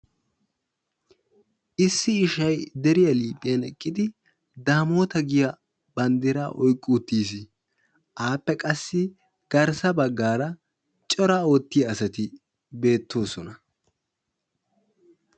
Issi ishshay deriyaa liiphphiyan eqqidi damotta giyaa bandraa oyiqqi uttis, appe qassi garssa baggara cora oottiyaa asatti beetosona.